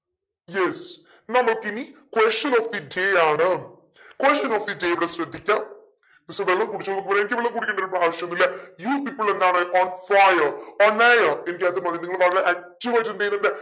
yes നമുക്കിനി question of ആണ് question of ഇവിടെ ശ്രദ്ധിക്ക കുറച്ചു വെള്ളം കുടിച്ചോളൂ എനിക്ക് വെള്ളം കുടിക്കേണ്ട ആവശ്യം ഇല്ല you people എന്താണ് on fire on air നിങ്ങൾ വളരെ active ആയിട്ട് എന്തെയ്യുന്നുണ്ട്